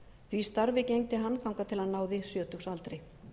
því starfi gegndi hann þangað til hann náði sjötugsaldri